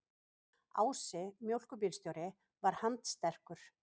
Ási mjólkurbílstjóri var handsterkur.